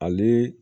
Ale